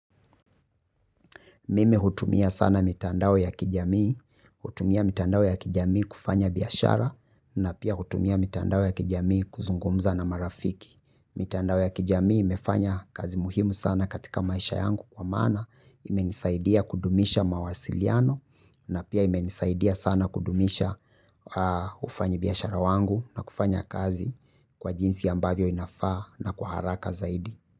Mimi hutumia sana mitandao ya kijamii, hutumia mitandao ya kijamii kufanya biashara na pia hutumia mitandao ya kijamii kuzungumza na marafiki. Mitandao ya kijamii imefanya kazi muhimu sana katika maisha yangu kwa maana imenisaidia kudumisha mawasiliano na pia imenisaidia sana kudumisha ufanyi biashara wangu na kufanya kazi kwa jinsi ambavyo inafaa na kwa haraka zaidi.